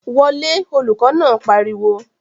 Wọ lé! Olùkọ̀ náà pariwo